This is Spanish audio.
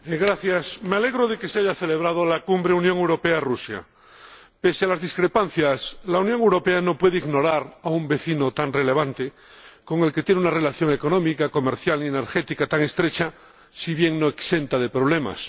Señora Presidenta, me alegro de que se haya celebrado la Cumbre UE Rusia. Pese a las discrepancias, la Unión Europea no puede ignorar a un vecino tan relevante con el que tiene una relación económica, comercial y energética tan estrecha, si bien no exenta de problemas.